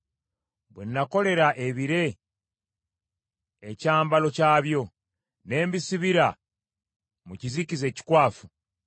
“Bwe nakolera ebire ekyambalo kyabyo, ne mbisibira mu kizikiza ekikwafu,